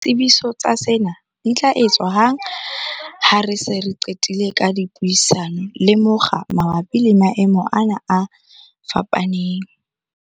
Ditsebiso tsa sena di tla etswa hang ha re se re qetile ka dipuisano le mokga mabapi le maemo ana a fapaneng.